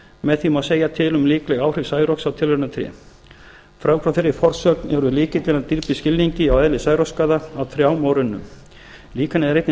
með því má segja til um líkleg áhrif særoks á tilraunatré frávik frá þeirri forsögn eru lykillinn að dýpri skilningi á eðli særoksskaða á trjám og runnum líkanið er einnig nauðsynlegt